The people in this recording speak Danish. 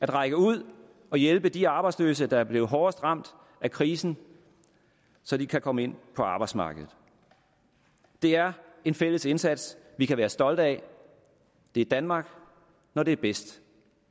række ud og hjælpe de arbejdsløse der er blevet hårdest ramt af krisen så de kan komme ind på arbejdsmarkedet det er en fælles indsats vi kan være stolte af det er danmark når det er bedst